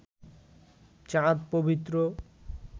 চাঁদ পবিত্র